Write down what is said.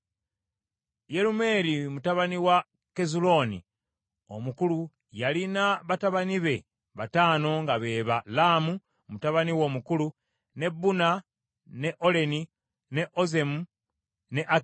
Yerumeeri mutabani wa Kezulooni omukulu yalina batabani be bataano nga be ba Laamu, mutabani we omukulu, ne Buna, ne Oleni, ne Ozemu ne Akiya.